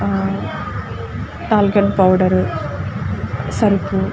అహ్హ talcum powder సరుపు --